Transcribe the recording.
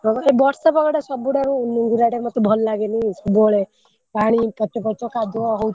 ହଁ ବା ଏଇ ବର୍ଷା ପାଗ ଟା ସବୁଠାରୁ ନୁଙ୍ଗୁରା ଟେ ମତେ ଭଲ ଲାଗେନି ସବୁବେଳେ ପାଣି ପଚପଚ କାଦୁଅ ହଉଥିବ,